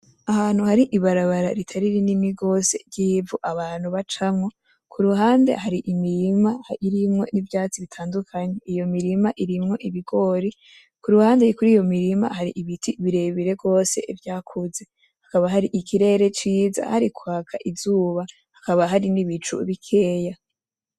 Ahantu hari ibarabara ritari rininigose ry'ivu abantu bacamwo. Ku ruhande hari imirima irimwo n'ivyatsi bitandukanye. Iyo mirima irimwo ibigori, ku ruhande yo kuri iyo mirima hari ibiti birebire gose vyakuze. Hakaba hari ikirere ciza, harikwaka izuba, hakaba hari n'ibicu bikeya.